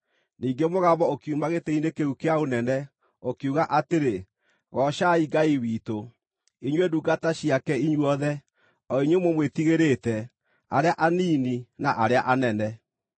Ningĩ mũgambo ũkiuma gĩtĩ-inĩ kĩu kĩa ũnene, ũkiuga atĩrĩ: “Goocai Ngai witũ, inyuĩ ndungata ciake inyuothe, o inyuĩ mũmwĩtigĩrĩte, arĩa anini na arĩa anene!”